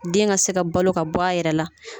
Den ka se ka balo ka bɔ a yɛrɛ la